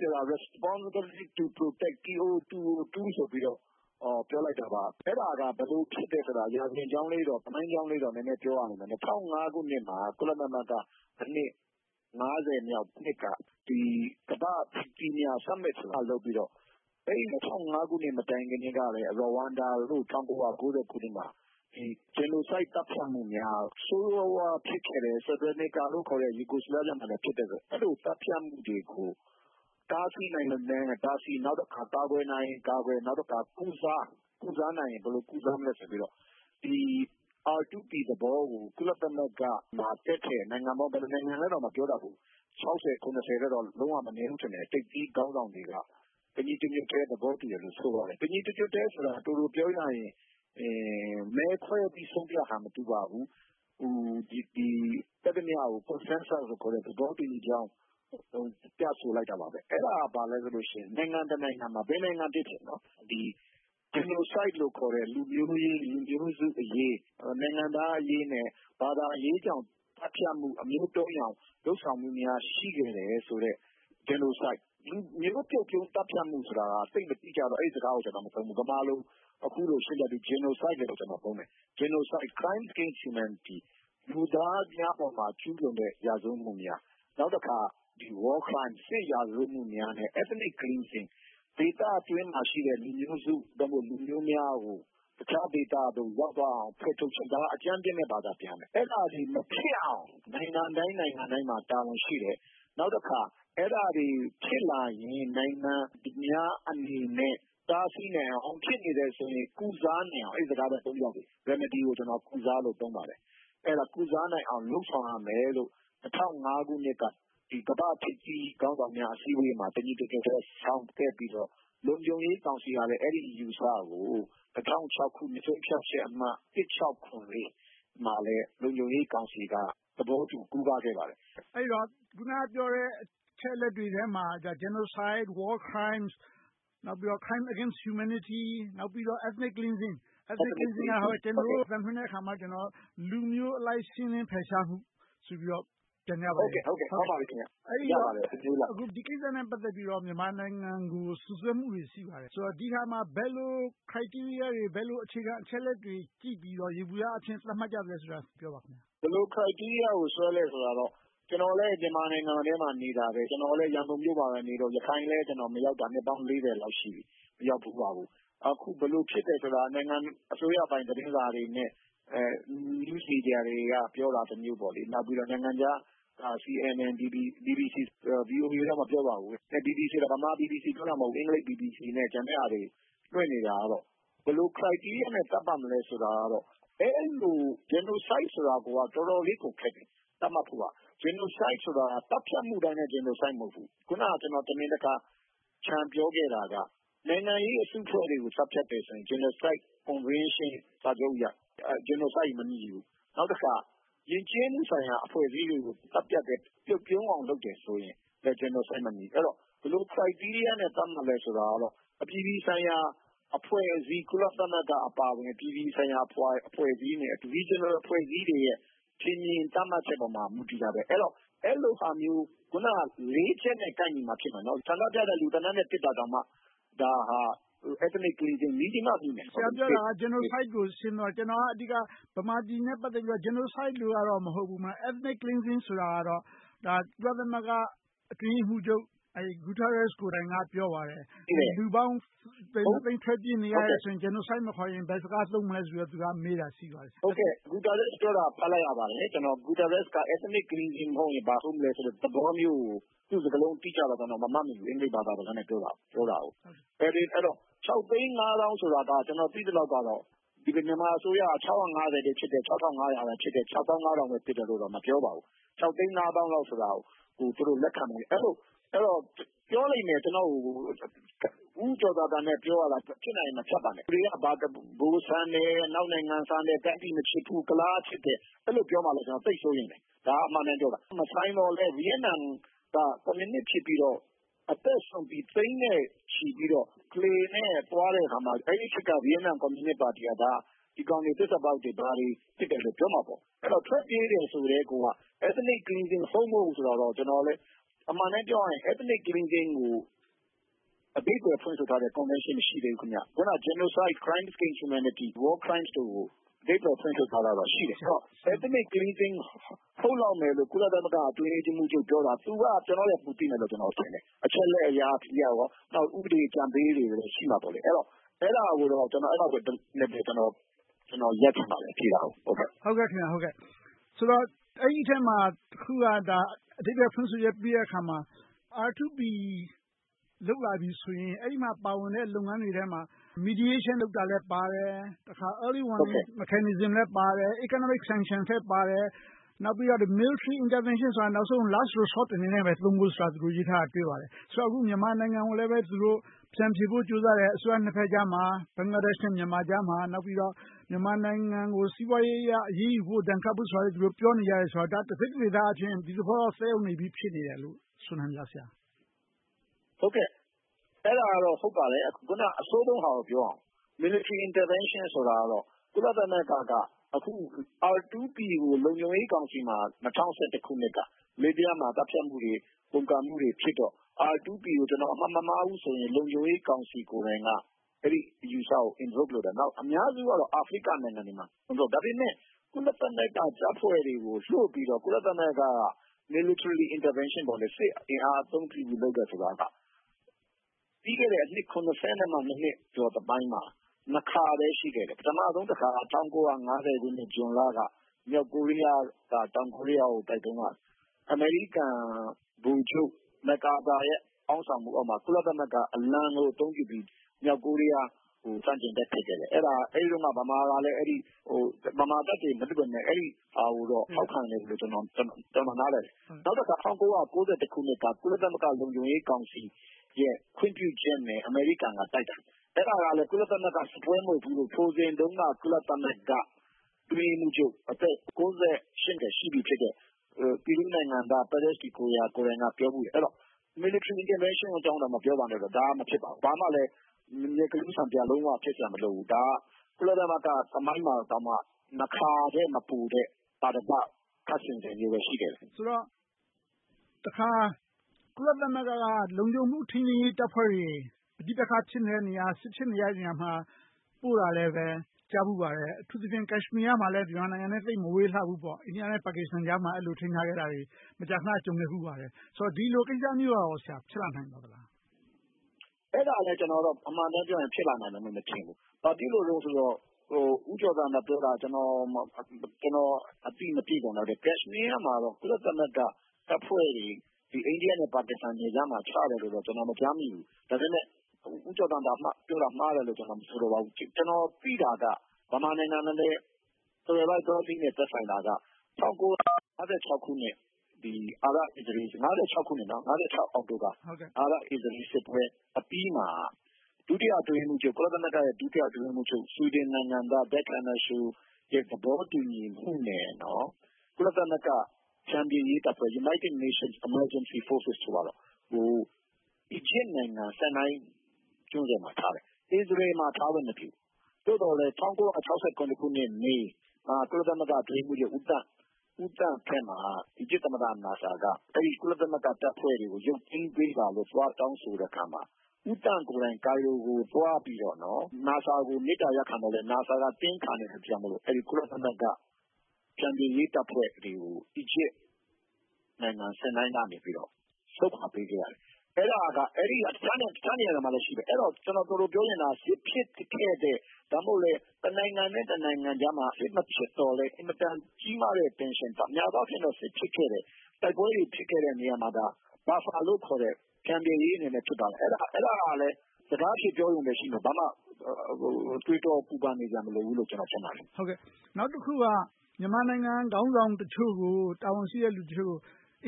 ဆိုတာ Responsibility to Protect လို့ ပြောလိုက်တာပါ။ အဲဒါက ဘယ်လိုဖြစ်တယ်ဆိုတာ ရာဇဝင်ကြောင်းလေး၊ သမိုင်းကြောင်းလေးတော့ နည်းနည်းပြောရမယ်။ ၂၀၀၅ ခုနှစ်မှာ ကုလသမဂ္ဂ နှစ် မြောက်နှစ်မှာ ကမ္ဘာ့ထိပ်သီးများ Summit လုပ်ပြီးတော့ အဲဒီ ၂၀၀၅ ခုနှစ် မတိုင်မီကတည်းက ရီဝမ်ဒါ ခုနှစ်မှာ Genocide သတ်ဖြတ်မှုများ၊ ဆိုးဆိုးဝါးဝါး ဖြစ်ခဲ့တဲ့ Serbia, Yugoslavia မှာလည်း ဖြစ်ခဲ့တဲ့အတွက် အဲဒီလို သတ်ဖြတ်မှုတွေကို တားဆီးနိုင်ရင်တားဆီး၊ ကာကွယ်နိုင်ရင်ကာကွယ်၊ ကုစားနိုင်ရင် ဘယ်လိုကုစားမလဲ ဆိုပြီးတော့ ဒီ R2P သဘောကို ကုလသမဂ္ဂမှာ တက်တဲ့ နိုင်ငံပေါင်း ဘယ်နှစ်နိုင်ငံလဲတော့ မပြောတတ်ဘူး ထက်တော့ မနည်းဘူး၊ ထိပ်သီးခေါင်းဆောင်တွေက တညီတညွှတ်တည်း သဘောတူတယ်လို့ ဆိုပါတယ်။ တညီတညွှတ်တည်းဆိုတာ ပြောရရင် မဲခွဲပြီး ဆုံးဖြတ်တာ မတူပါဘူး။ တက်သမျှကို Consensus သဘောတူညီကြောင်း ပြဆိုလိုက်တာပါ။ အဲဒါက ဘာလဲဆိုတော့ နိုင်ငံတနိုင်ငံမှာ ဘယ်နိုင်ငံပဲဖြစ်ဖြစ် Genocide လို့ခေါ်တဲ့ လူမျိုးရေး၊ လူမျိုးစုအရေး၊ နိုင်ငံသားအရေးနဲ့ ဘာသာရေးကြောင့် သတ်ဖြတ်မှု မျိုးတုန်းအောင် လုပ်ဆောင်မှုများ ရှိခဲ့တယ်ဆိုတဲ့ Genocide လူမျိုးပြုတ်သတ်ဖြတ်မှုဆိုတာ သိပ်မတိကျတော ကျနော် အဲဒီစကားကို မသုံးဘူး။ ဗမာလို အခုလိုရှင်းပြပြီး Genocide လို့ပဲသုံးမယ်။ Crimes against Humanity လူသားများအပေါ်မှာ ကျူးလွန်တဲ့ ရာဇဝတ်မှုများ။ နောက်တခါ War Crimes စစ်ရာဇဝတ်မှုများနဲ့ Ethnic Cleansing ဒေသတွင်းမှာရှိတဲ့ လူမျိုးစု လူမျိုးများကို တခြားဒေသသို့ ရောက်သွားအောင် ဖယ်ထုတ်ခြင်း။ ဒါက အကြမ်းမျဉ်းပဲ ဘာသာပြန်ထားတယ်။ အဲဒါတွေ မဖြစ်အောင် နိုင်ငံတိုင်း နိုင်ငံတိုင်းမှာ တာဝန်ရှိတယ်။ နောက်တခါ အဲဒါတွေ ဖြစ်လာရင် နိုင်ငံများအနေနဲ့ တားဆီးနိုင်အောင်။ ဖြစ်နေတယ်ဆိုရင် ကုစားနိုင်အောင် - အဲဒီစကားကို သုံးပါရစေ Remedy ကို ကုစားလို့ သုံးပါတယ်။ ကုစားနိုင်အောင် လုပ်ဆောင်ရမယ်လို့ ၂၀၀၅ ခုနှစ်က ကမ္ဘာ့ထိပ်သီးခေါင်းဆောင်များ အစည်းအဝေးမှာ တညီတညွတ်ထဲ ဆုံးဖြတ်ခဲ့ပြီး၊ လုံခြုံရေးကောင်စီကလည်း အဲဒီအယူအဆကို ၂၀၀၆ ခုနှစ် ဆုံးဖြတ်ချက်အမှတ် မှာ လုံခြုံရေးကောင်စီက သဘောတူခဲ့ပါတယ်။ မေး ။ ။ အဲဒီတော့ အခုနပြောတဲ့ အချက်အလက်တွေထဲမှာ Genocide, War Crimes, Crimes against Humanity, Ethnic Cleansing - ကျနော်တို့ အသံလွှင့်တဲ့အခါ လူမျိုးအလိုက် ရှင်းလင်းဖယ်ရှားမှု ဆိုပြီးတော့ ပြန်ကြပါတယ်။ ဒီကိစ္စနဲ့ ပတ်သက်ပြီးတော့ မြန်မာနိုင်ငံကို စွပ်စွဲမှုတွေ ရှိပါတယ်။ ဒီဟာမှာ ဘယ်လို Criteria တွေ၊ ဘယ်လို အခြေခံအချက်အလက်တွေ ကြည့်ပြီးတော့ ယေဘုယျအဖြစ် သတ်မှတ်ကြသလဲဆိုတာကို ပြောပါ။ ဖြေ ။ ။ ဘယ်လို Criteria ကို ရေးဆွဲလဲဆိုတော့ ကျနော်လည်း မြန်မာနိုင်ငံထဲမှာ နေတယ်။ ကျနော်လည်း ရန်ကုန်မြို့မှာနေတော့ ရခိုင်လည်း မရောက်တာ နှစ်ပေါင်း လောက်ရှိပြီ။ အခု ဘယ်လိုဖြစ်တယ်ဆိုတာ နိုင်ငံပိုင် အစိုးရသတင်းစာတွေ နဲ့ News Media တွေက ပြောတာတမျိုး။ နောက်ပြီးတော့ နိုင်ငံခြားက CNN, BBC တို့ ပြောကြတယ်။ VOA ကတော့ မပြောပါဘူး။ BBC က ဗမာ BBC ကို ပြောတာမဟုတ်ဘူး။ အင်္ဂလိပ် BBC နဲ့ ကျန်တဲ့ဟာတွေ လွှင့်နေတာကတော့ ဘယ်လို Criteria နဲ့ သတ်မှတ်မလဲဆိုတာကတော့ အဲဒီလို Genocide ဆိုတာကတော့ တော်တော်လေးကို ခက်တယ်။ Genocide က သတ်ဖြတ်မှုတိုင်းလည်း Genocide မဟုတ်ဘူး။ အခုန တမင်တကာ ချန်ပြောခဲ့တာက နိုင်ငံရေး အစုအဖွဲ့တွေကို သတ်ဖြတ်တယ်ဆိုရင် Genocide Convention စာချုပ်အရ Genocide မဖြစ်ဘူး။ နောက်တခါ ယဉ်ကျေးမှုဆိုင်ရာ အဖွဲ့အစည်းတွေကို ပြုတ်ပြုန်းအောင် လုပ်တယ်ဆိုရင် Genocide မဖြစ်ဘူး။ အဲဒီတော့ ဘယ်လို Criteria နဲ့ သတ်မှတ်လဲဆိုတာတော့ အပြည်ပြည်ဆိုင်ရာ အဖွဲ့အစည်း၊ ကုလသမဂ္ဂအပါအဝင် အပြည်ပြည်ဆိုင်ရာ အဖွဲ့အစည်းနဲ့ Regional အဖွဲ့အစည်းတွေရဲ့ ထင်မြင်သတ်မှတ်ချက်တွေပေါ် မူတည်တယ်။ အဲဒီလိုဟာမျိုး လေးချက်နဲ့ ကိုက်ညီမှဖြစ်တယ်။ နောက် ဆန္ဒပြတဲ့လူ သေနတ်နဲ့ ပစ်တာတောင်မှ ဒါဟာ Ethnic Cleansing မေးကြည့်မှသိမယ်။ မေး ။ ။ ဆရာပြောတာက Genocide ကို ဆင်းသွားတယ်။ ကျနော်က အဓိက ဗမာပြည်နဲ့ ပတ်သက်ပြီးတော့ Genocide တော့ မဟုတ်ဘူး။ Ethnic Cleansing ဆိုတာကတော့ ကုလသမဂ္ဂ အတွင်းရေးမှူးချုပ် António Guterres ကိုယ်တိုင်က ပြောပါတယ်။ လူပေါင်း သုံးသိန်း ထွက်ပြေးနေရတယ်ဆိုရင် Genocide မခေါ်ရင် ဘယ်စကား သုံးမလဲဆိုပြီးတော့ သူက မေးတာရှိပါတယ်။ ဖြေ ။ ။ ဂူဒါရက် ပြောတာ ဖတ်လိုက်ရပါတယ်။ Guterres က Ethnic Cleansing မဟုတ်ရင်၊ ဘာဟုတ်မလဲဆိုတဲ့ သဘောမျိုးကို - သူ့စကားလုံး အသုံးအနှုန်းကို ကျနော် မမှတ်မိဘူး။ အင်္ဂလိပ်ဘာသာစကားနဲ့ ပြောတာကို။ အဲဒီတော့ သိန်း သောင်းဆိုတာက ကျနော် သိသလောက်တော့ မြန်မာအစိုးရက ဖြစ်တယ်၊ ဖြစ်တယ်၊ ပဲဖြစ်တယ်လို့တော့ မပြောပါဘူး။ သိန်း သောင်းလောက်ကို သူတို့ လက်ခံမယ်။ ပြောလိမ့်မယ် ကျနော်ကို ဦးကျော်ဇံသာနဲ့ ပြောတာကို ဖြစ်နိုင်ရင် မဖြတ်ပါနဲ့… ဒီလူတွေက ဗိုလ်ဆန်တယ်။ အနောက်နိုင်ငံဆန်တယ်။ တိုင်းပြည်မချစ်ဘူး။ ကုလားချစ်တယ်.. အဲဒီလို ပြောမှာကို သိပ်စိုးရိမ်တယ်။ ဒါက အမှန်အတိုင်းပြောတာ။ မဆိုင်သော်လဲ - ဗိယက်နမ်က ကွန်မြူနစ်ဖြစ်ပြီး အသက်စွန့်ပြီး သိန်းနဲ့ချီပြီး လှေနဲ့သွားတဲ့အခါမှာ အဲဒီခေတ်က ဗိယက်နမ် ကွန်မြူနစ်ပါတီက ဒီကောင်တွေ သစ္စာဖောက်တွေ၊ ဘာတွေဖြစ်တယ်လို့ ပြောမှာပေါ့။ ထွက်ပြေးတယ်ဆိုကတည်းက Ethnic Cleansing ဟုတ်မဟုတ် ဆိုတာတော့ ကျနော်လည်း အမှန်အတိုင်းပြောရရင် Ethnic Cleansing ကို အဓိပ္ပါယ်ဖွင့်ဆိုထားတဲ့ Convention မရှိသေးဘူး။ အခုနပြောတဲ့ Genocide, Crimes against Humanity, War Crimes တို့ကို အဓိပ္ပါယ် ဖွင့်ဆိုထားတာတော့ ရှိတယ်။ Ethnic Cleansing ဟုတ်လောက်တယ်လို့ ကုလသမဂ္ဂ အတွင်းရေးမှူးချုပ်ပြောတာ သူက ကျနော်ထက် ပိုသိမယ်လို့ ကျနော်ထင်တယ်။ အချက်အလက်အရ၊ ဥပဒေ အကြံပေးတွေလည်း ရှိမှာပေါ့။ အဲဒါကိုတော့ ကျနော် သုံးသပ်ပြီး၊ သူဖြေတာကို လက်ခံပါတယ်။ မေး ။ ။ ဆိုတော့ အဲဒီအထဲမှာ တခုက အဓိပ္ပါယ်ဖွင့်ဆိုချက် ပေးတဲ့အခါမှာ R2P လုပ်လာပြီဆိုရင် အဲဒီထဲမှာပါဝင်တဲ့ လုပ်ငန်းတွေထဲမှာ Mediation လုပ်တာလည်းပါတယ်။ Early warning mechanism လည်းပါတယ်။ Economic sanction လည်းပါတယ်။ နောက်ပြီးတော့ Military Intervention ဆိုတာ နောက်ဆုံး Last resort အနေနဲ့ သုံးဖို့ဆိုတာကို ရေးထားတာ တွေ့ပါတယ်။ အခု မြန်မာနိုင်ငံကိုလည်း သူတို့ ဖြန်းဖြေဖို့ ကြိုးစားနေတယ်။ ဘင်္ဂလားဒေ့ရှ် နဲ့ မြန်မာနိုင်ငံ အစိုးရနှစ်ဘက်ကြားမှာ။ နောက်ပြီးတော့ မြန်မာနိုင်ငံကို စီးပွားရေးအရ အရေးယူဖို့၊ ဒဏ်ခတ်ဖို့ ဆိုတာလည်း သူတို့ပြောနေကြတယ်ဆိုတော့ တစိတ်တဒေသအားဖြင့် ဒီသဘောတော့ သက်ရောက်နေပြီဖြစ်တယ်လို့ မဆိုနိုင်ဘူးလား။ ဖြေ ။ ။ အဲဒါကတော့ ဟုတ်ပါတယ်။ အဆိုးဆုံးဟာကို ပြောရအောင်။ Military Intervention ဆိုတာကတော့ ကုလသမဂ္ဂ က အခု R2P ကို လုံခြုံရေးကောင်စီမှာ ၂၀၁၁ ခုနှစ်က လစ်ဗျားမှာ သတ်ဖြတ်မှုတွေ၊ ပုန်ကန်မှုတွေဖြစ်တော့ R2P ကို ကျနော်အမှတ်မမှားဘူးဆိုရင် လုံခြုံရေးကောင်စီ ကိုယ်တိုင်က အဲဒီအယူအဆကို Endorse လုပ်တာ။ အများစုက အာဖရိကနိုင်ငံတွေပါ။ ဒါပေမဲ့ ကုလသမဂ္ဂတပ်ဖွဲ့တွေကို လွှတ်ပြီးတော့၊ ကုလသမဂ္ဂက Military Intervention စစ်ရေးအင်အားအသုံးပြုပြီး လုပ်တယ်ဆိုတာက ပြီးခဲ့တဲ့ အနှစ် နှစ်အတွင်းမှာ ခါပဲ ရှိခဲ့တယ်။ ပထမဆုံးတခါ ၁၉၅၀ ခုနှစ် ဇွန်လက မြောက်ကိုရီးယားက တောင်ကိုရီးယားကို တိုက်တုန်းက အမေရိကန် ဗိုလ်ချုပ် MacArthur ရဲ့ ခေါင်းဆောင်မှုအောက်မှာ ကုလသမဂ္ဂအလံကို အသုံးပြုပြီး မြောက်ကိုရီးယားကို ဆန့်ကျင်တိုက်ခိုက်ခဲ့တယ်။ အဲဒီတုန်းက ဗမာတပ်တွေ မလွှတ်ခဲ့ပေမယ့် အဲဒီဟာကို ထောက်ခံတယ်လို့ ကျနော် နားလည်တယ်။ နောက်တခါ ၁၉၉၁ ခုနှစ်က ကုလသမဂ္ဂ လုံခြုံရေးကောင်စီရဲ့ ခွင့်ပြုချက်နဲ့ အမေရိကန်က တိုက်တာ။ အဲဒါကလဲ ကုလသမဂ္ဂ စစ်ပွဲမဟုတ်ဘူး။ ထိုစဉ်တုန်းက ကုလသမဂ္ဂ အတွင်းရေးမှူးချုပ် အသက် နှစ်ရှိပြီဖြစ်တဲ့ Peru နိုင်ငံသား Pérez de Cuéllar ကိုယ်တိုင်က ပြောဆိုခဲ့ဖူးတယ်။ အဲဒီတော့ Military Intervention တော့ မပြောပါနဲ့တော့ အဲဒါ မဖြစ်ပါဘူး။ ဘာမှလဲ မျက်ကလူးဆန်ပျာ လုံးဝဖြစ်စရာ မလိုပါဘူး။ ဒါက ကုလသမဂ္ဂ သမိုင်းတောင်မှ နှစ်ခါထက် မပိုတဲ့ သာဓက ခပ်ဆင်ဆင်လေးပဲ ရှိခဲ့တယ်။ မေး ။ ။ ဆိုတော့ တခါ ကုလသမဂ္ဂ က လုံခြုံရေး ထိန်းသိမ်းရေးတပ်ဖွဲ့တွေ ပဋိပက္ခ ဖြစ်နေတဲ့နေရာ၊ စစ်ဖြစ်နေတဲ့နေရာတွေကို ပို့တာလည်း ကြားဖူးပါတယ်။ အထူးသဖြင့် ကတ်ရှမီးယား မြန်မာနိုင်ငံနဲ့ သိပ်မဝေးလှဘူးပေါ့။ အိန္ဒိယ နဲ့ ပါကစ္စတန် နိုင်ငံကြားမှာ အဲဒီလို ထိန်းထားခဲ့တာတွေ မကြာခဏ ကြုံခဲ့ဖူးပါတယ်။ ဆိုတော့ ဒီလိုကိစ္စမျိုး ဖြစ်လာနိုင်မလား။ ဖြေ ။ ။ အဲဒါလဲ အမှန်အတိုင်းပြောရင် ဖြစ်လာနိုင်မယ်လို့ မထင်ဘူး။ ဘာဖြစ်လို့လဲဆိုတော့ ဦးကျော်ဇံသာပြောတာ ကျနော် အသိမပြည့်စုံလောက်တာ… ကတ်ရှမီးယားမှာ ကုလသမဂ္ဂတပ်ဖွဲ့တွေ အိန္ဒိယ နဲ့ ပါကစ္စတန်ကြားမှာ ချထားတယ်လို့တော့ ကျနော် မကြားမိဘူး။ ဒါပေမဲ့ ဦးကျော်ဇံသာ မှားတယ်လို့ ကျနော် မဆိုလိုပါဘူး။ ကျနော် သိတာက ဗမာနိုင်ငံနဲ့ သွယ်ဝိုက်သောနည်းနဲ့ သက်ဆိုင်တာက ၁၉၅၆ ခုနှစ် အာရပ်-အစ္စရေးလ် စစ်ပွဲအပြီးမှာ ကုလသမဂ္ဂ ဒုတိယအတွင်းရေးမှူးချုပ် ဆွိဒင်နိုင်ငံသား သဘောတူညီမှုနဲ့ ကုလသမဂ္ဂ ဖျန်ဖြေရေးတပ်ဖွဲ့ United Nations-American Peace Forces ကို Egypt နိုင်ငံ Sinai ကျွန်းဆွယ်မှာထားတယ်။ အစ္စရေးလ်မှာ ထားလို့မဖြစ်ဘူး။ သို့သော်လဲ ၁၉၆်၇ ခုနှစ် မေလမှာ ကုလသမဂ္ဂ အတွင်းရေးမှူးချုပ် ဦးသန့်လက်ထက်မှာ အီဂျစ်သမ္မတ Nasar က ကုလသမဂ္ဂတပ်ဖွဲ့တွေကို ရုတ်သိမ်းပေးပါလို့ သွားတောင်းဆိုတဲ့အခါမှာ ဦးသန့်ကိုယ်တိုင် Cario ကို သွားပြီးတော့ Nasar ကို မေတ္တာရပ်ခံပေမယ့် Nasar တင်းခံတာကြောင့် ကုလသမဂ္ဂ က ဖျန်ဖြေရေးတပ်ဖွဲ့တွေကို အီဂျစ်နိုင်ငံ Sinai ကနေ ဆုတ်ခွါပေးခဲ့ရတယ်။ တခြားနေရာတွေမှာလည်း ရှိတယ်။ ကျနော် ပြောချင်တာက စစ်ဖြစ်ခဲ့တဲ့၊ ဒါမှမဟုတ် တနိုင်ငံနဲ့ တနိုင်ငံကြားမှာ စစ်မဖြစ်သော်လဲ အင်မတန် ကြီးမားတဲ့ Tension များသောအားဖြင့် စစ်ဖြစ်ခဲ့တဲ့၊ တိုက်ပွဲတွေ ဖြစ်ခဲ့တဲ့ နေရာတွေမှာ Buffer လို့ခေါ်တဲ့ ဖျန်ဖြေရေးအနေနဲ့ ဖြစ်ပါတယ်။ အဲဒါကလဲ စကားအဖြစ် ပြောရုံပဲရှိမယ်။ ဘာမှ တွေးတောပူပန်နေစရာ မလိုဘူးလို့ ကျနော် ထင်ပါတယ်။ မေး ။ ။ နောက်တခုက မြန်မာနိုင်ငံ ခေါင်းဆောင်တချို့၊ တာဝန်ရှိတဲ့ လူတချို့ကို